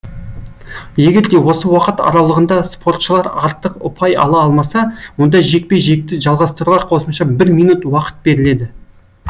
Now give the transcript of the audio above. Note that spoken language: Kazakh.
егерде осы уақыт аралығында спортшылар артық ұпай ала алмаса онда жекпе жекті жалғастыруға қосымша бір минут уақыт беріледі